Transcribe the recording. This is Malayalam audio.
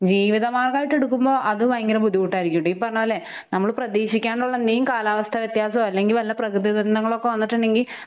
ജീവിതമാർഗായിട്ട് എടുക്കുമ്പോ അത് പയങ്കര ബുദ്ധിമുട്ടായിരിക്കും ഡീ പറഞ്ഞപോലെ ഹ് നമ്മള് പ്രതീക്ഷിക്കാനുള്ള മെയിൻ കാലാവസ്ഥ വ്യത്യാസൊ അല്ലെങ്കി വെള്ള പ്രകൃതി ദുരന്തങ്ങളൊക്കെ വന്നിട്ടുണ്ടെങ്കിൽ